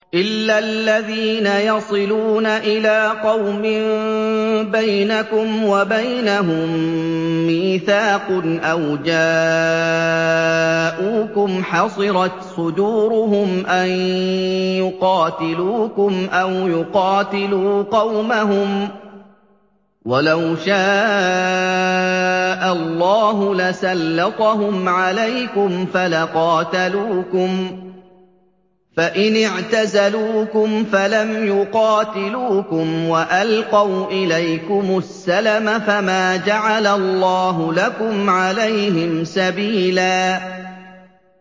إِلَّا الَّذِينَ يَصِلُونَ إِلَىٰ قَوْمٍ بَيْنَكُمْ وَبَيْنَهُم مِّيثَاقٌ أَوْ جَاءُوكُمْ حَصِرَتْ صُدُورُهُمْ أَن يُقَاتِلُوكُمْ أَوْ يُقَاتِلُوا قَوْمَهُمْ ۚ وَلَوْ شَاءَ اللَّهُ لَسَلَّطَهُمْ عَلَيْكُمْ فَلَقَاتَلُوكُمْ ۚ فَإِنِ اعْتَزَلُوكُمْ فَلَمْ يُقَاتِلُوكُمْ وَأَلْقَوْا إِلَيْكُمُ السَّلَمَ فَمَا جَعَلَ اللَّهُ لَكُمْ عَلَيْهِمْ سَبِيلًا